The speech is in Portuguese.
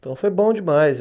Então foi bom demais.